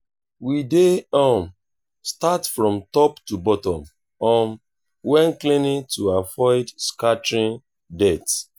we dey um start from top to bottom um when cleaning to avoid scattering dirt.